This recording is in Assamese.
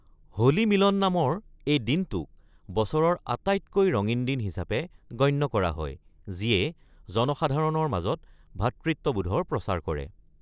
‘হোলী মিলন’ নামৰ এই দিনটোক বছৰৰ আটাইতকৈ ৰঙীন দিন হিচাপে গণ্য কৰা হয়, যিয়ে জনসাধাৰণৰ মাজত ভাতৃত্ববোধৰ প্ৰচাৰ কৰে।